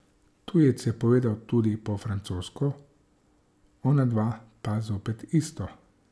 Tujec je povedal tudi po francosko, onadva pa zopet isto.